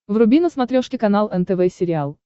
вруби на смотрешке канал нтв сериал